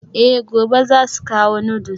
Eh gobe zasu kawo noodles.